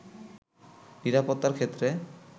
নিরাপত্তার ক্ষেত্রে